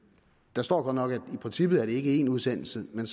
der står godt nok at det i princippet ikke én udsendelse men